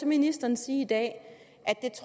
ministeren sige i dag